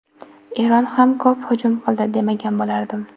Eron ham ko‘p hujum qildi, demagan bo‘lardim.